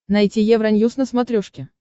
найти евроньюс на смотрешке